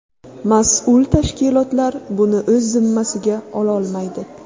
Mas’ul tashkilotlar buni o‘z zimmasiga ololmaydi.